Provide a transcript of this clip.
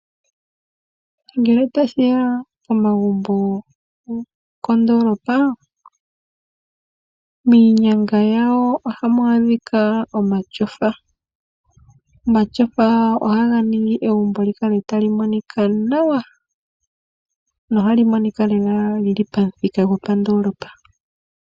Ngele tashi ya pomagumbo gokondoolopa, miinyanga yawo ohamu adhika omatyofa. Omatyofa ohaga ningi egumbo li kale tali monika nawa, nohali monika lela li li pamuthika gopandoolopa.